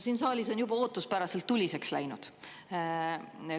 Siin saalis on juba ootuspäraselt tuliseks läinud.